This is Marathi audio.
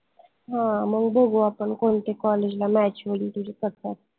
हां मंग बघू आपन कोनत्या college ला match होईल तुझे कस काय